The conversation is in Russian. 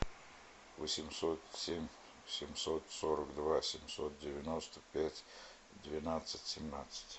восемьсот семь семьсот сорок два семьсот девяносто пять двенадцать семнадцать